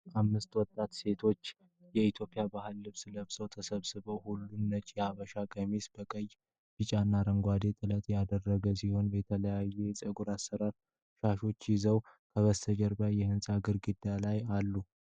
አምስት ወጣት ሴቶች የኢትዮጵያን ባህላዊ ልብስ ለብሰው ተሰብስበዋል። ሁሉም ነጭ የሀበሻ ቀሚሶችን በቀይ፣ ቢጫና አረንጓዴ ጥለት ያደረጉ ሲሆን፣ የተለያዩ የጸጉር አሰራሮችና ሻሾች ይዘዋል። ከጀርባቸው የህንጻ ግድግዳው ላይ አሉ።